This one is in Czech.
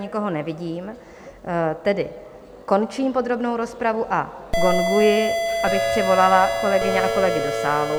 Nikoho nevidím, tedy končím podrobnou rozpravu a gonguji, abych přivolala kolegyně a kolegy do sálu.